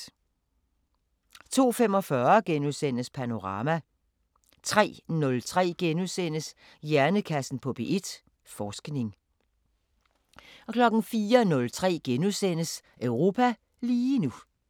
02:45: Panorama * 03:03: Hjernekassen på P1: Forskning * 04:03: Europa lige nu *